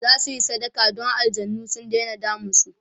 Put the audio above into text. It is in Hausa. zasuyi sadaka Dan aljanai su Daina damun su